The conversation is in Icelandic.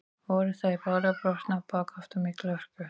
Voru þær báðar brotnar á bak aftur af mikilli hörku.